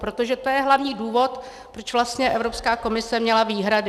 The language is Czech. Protože to je hlavní důvod, proč vlastně Evropská komise měla výhrady.